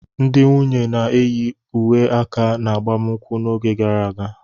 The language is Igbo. Ndị nwunye na-eyi uwe aka n'agbamakwụkwọ n'oge gara aga.